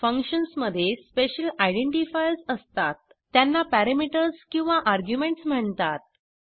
functions मध्ये special identifiers असतात त्यांना पॅरामीटर्स किंवा आर्ग्युमेंट्स म्हणतात